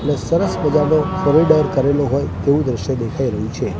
ને સરસ મજાનો કોરીડોર કરેલો હોય તેવુ દ્રશ્ય દેખાય રહ્યું છે.